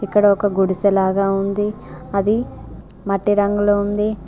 ఇక్కడ ఒక గుడిసె లాగా ఉంది అది మట్టి రంగులో ఉంది.